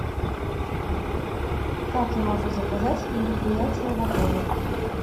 как я могу заказать мероприятие в отеле